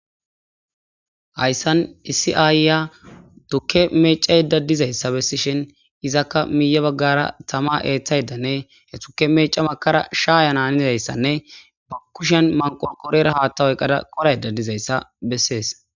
Hayssan issi ayiya tuuke meccayda diizayssa bessishin iizaka miye baggara tamma eththadane he tuuke meeca wurssada shayana haniyaysa ba kushiyan manqorqorara haatha oykada tigayda dizayssa besses.